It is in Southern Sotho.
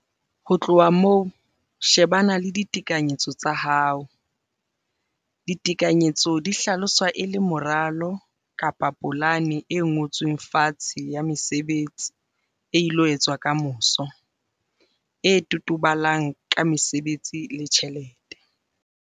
Ho tloha moo, shebana le ditekanyetso tsa hao. Ditekanyetso di hlaloswa e le moralo-polane e ngotsweng fatshe ya mesebetsi e ilo etswa ka moso, e totobalang ka mesebetsi le tjhelete.